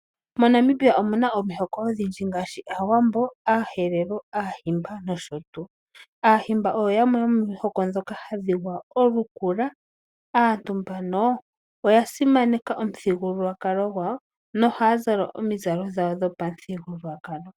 Monamibia omuna omihoko odhindji ngaashi aawambo, aaherero, aahimba nosho tuu . Aahimba oyo yamwe yomo mihoko ndhoka hadhi gwaya olukula. Aantu mbano oya simaneka omuthigululwakalo gawo nohaya zala omizalo dhawo dhopamuthigululwakalo.